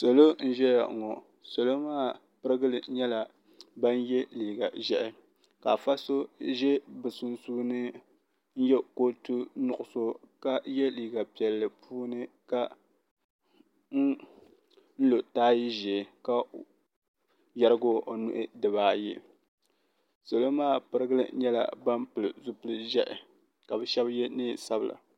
Salo n ʒɛya ŋɔ salo maa pirigili nyɛla ban ye liiga ʒehi ka afa so ʒɛ bɛ sunsuuni n ye kootu nuɣuso ka ye liiga piɛlli puuni ka n lo taaya ʒee ka yerigi o nuhi dibaayi salo maa pirigili nyɛla ban pili zipili ʒɛhi ka bɛ sheba ye niɛn'sabla.